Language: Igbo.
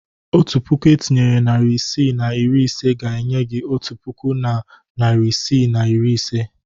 Otu puku etinyere narị isii na iri ise ga-enye gị otu puku na narị isii na iri ise.